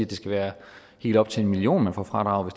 det skal være helt op til en million man får fradraget